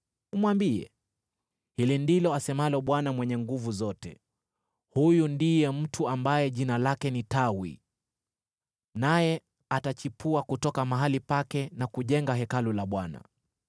Umwambie, hili ndilo asemalo Bwana Mwenye Nguvu Zote: ‘Huyu ndiye mtu ambaye jina lake ni Tawi, naye atachipua kutoka mahali pake na kujenga Hekalu la Bwana .